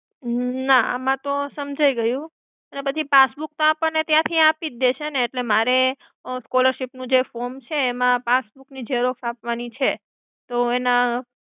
ના એમાં તો સમજાઈ ગયું. પણ બધી passbook તો ત્યાંની આપણને આપી જ દેશે ને તો મારે અ, scholarship નું જે form છે એમાં passbook ની Xerox આપવાની છે. તો એના.